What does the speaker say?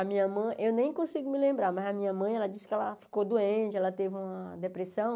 A minha mãe, eu nem consigo me lembrar, mas a minha mãe, ela disse que ela ficou doente, ela teve uma depressão.